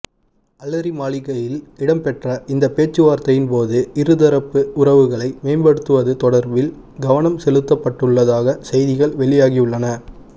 அலரிமாளிகையில் இடம்பெற்ற இந்த பேச்சுவார்த்தையின் போது இருதரப்பு உறவுகளை மேம்படுத்துவது தொடாபில் கவனம் செலுத்தப்பட்டுள்ளதாக செய்திகள் வெளியாகியுள்ளன